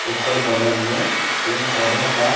एकर में बगल में पेड़ -पौधा बा.